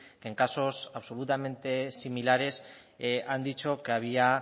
que en casos absolutamente similares han dicho que había